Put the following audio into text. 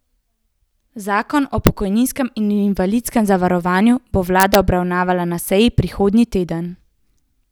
Zakon o pokojninskem in invalidskem zavarovanju bo vlada obravnavala na seji prihodnji teden.